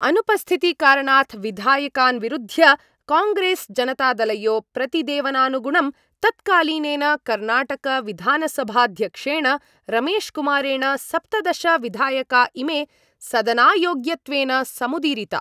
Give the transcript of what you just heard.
अनुपस्थितिकारणात् विधायकान् विरुध्य कांग्रेस् जनतादलयो प्रतिदेवनानुगुणं तत्कालीनेन कर्णाटकविधानसभाध्यक्षेण रमेशकुमारेण सप्तदश विधायका इमे सदनायोग्यत्वेन समुदीरिता।